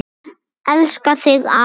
Elska þig, afi minn.